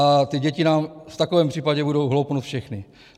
A ty děti nám v takovém případě budou hloupnout všechny.